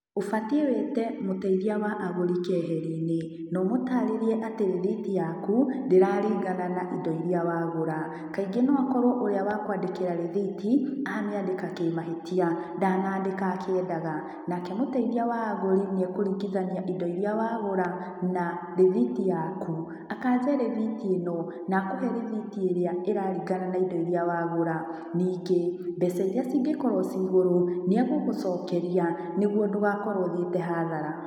Ũbatiĩ wĩte mũteithia wa agũri keheri-inĩ, no ũmũtarĩrie atĩ rĩthiti yaku ndĩraringana na indo iria wa gũra. Kaingĩ no akorwo ũria wa kũandĩkĩra rĩthiti, amĩandĩka kĩmahĩtia, ndanaandĩka akĩendaga. Nake mũteithia wa agũri nĩekũringithania indo iria wagũra, na rĩthiti yaku. Akanje rĩthiti ĩno na akũhe rĩthiti ĩrĩa ĩraringana na indo iria wagũra. Ningĩ, mbeca iria ingĩkorwo ci igũrũ, nĩegũgũcokeria nĩguo ndũgakorwo ũthiĩte hathara.